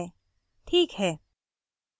password बदल गया है